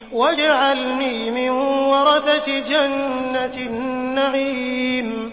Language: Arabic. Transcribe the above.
وَاجْعَلْنِي مِن وَرَثَةِ جَنَّةِ النَّعِيمِ